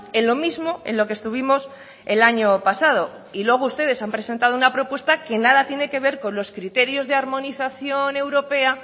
en lo mismo en lo que estuvimos el año pasado y luego ustedes han presentado una propuesta que nada tiene que ver con los criterios de armonización europea